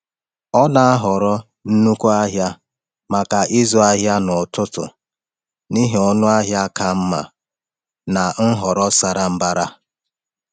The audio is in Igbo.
Ọ na-ahọrọ nnukwu ahịa maka ịzụ ahịa n’ọtụtù n’ihi ọnụ ahịa ka mma na nhọrọ sara mbara.